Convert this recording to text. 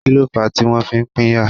Kíló fà tí wọ́n fi pínyà?